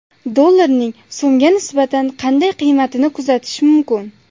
Dollarning so‘mga nisbatan qanday qiymatini kutish mumkin?